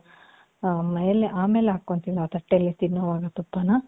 ಆಮೇಲೆ, ಆಮೇಲೆ ಹಾಕ್ಕೊಂತೀವಿ ನಾವು ತಟ್ಟೇಲಿ ತಿನ್ನೋವಾಗ ತುಪ್ಪನ .